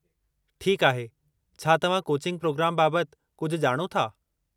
ठीकु आहे, छा तव्हां कोचिंग प्रोग्राम बाबतु कुझु ॼाणो था ?